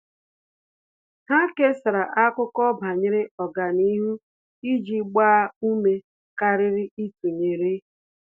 Há kèsàrà ákụ́kọ́ banyere ọ́gànihu iji gbaa ume kàrị́rị́ ítụ́nyéré.